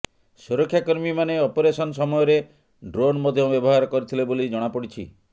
ସୁରକ୍ଷାକର୍ମୀମାନେ ଅପରେସନ ସମୟରେ ଡ୍ରୋନ୍ ମଧ୍ୟ ବ୍ୟବହାର କରିଥିଲେ ବୋଲି ଜଣାପଡ଼ିଛି